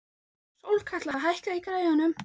Sólkatla, hækkaðu í græjunum.